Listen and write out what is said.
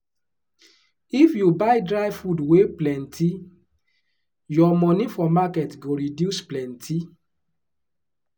if you buy dry food wey plenty your money for market go reduce plenty.